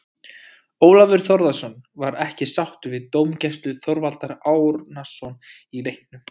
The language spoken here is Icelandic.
Ólafur Þórðarson var ekki sáttur við dómgæslu Þorvaldar Árnasonar í leiknum.